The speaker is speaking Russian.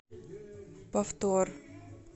повтор